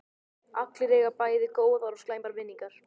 Allir eiga bæði góðar og slæmar minningar.